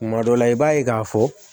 Kuma dɔ la i b'a ye k'a fɔ